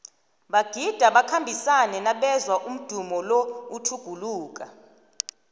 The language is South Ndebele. bagida bakhambisane nabezwa umdumo lo utjhuguluka